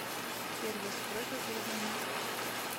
сервис просьба перезвонить